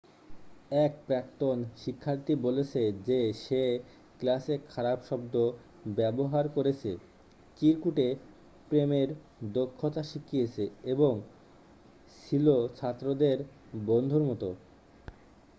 এক প্রাক্তন শিক্ষার্থী বলেছে যে সে 'ক্লাসে খারাপ শব্দ ব্যবহার করেছে চিরকুটে প্রেমের দক্ষতা শিখিয়েছে এবং ছিল ছাত্রদের বন্ধুর মত।'